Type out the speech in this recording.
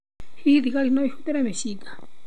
Hihi thigari no ihũthĩre mĩcinga?